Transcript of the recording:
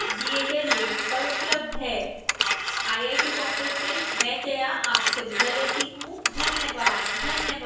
IIT Bombay से मैं जया आपसे विदा लेती हूँ धन्यवाद